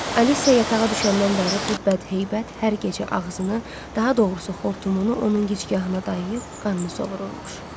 Aliciya yatağa düşəndən bəri bu bədheybət hər gecə ağzını, daha doğrusu xortumunu onun gicgahına dayayıb qanını sovururmuş.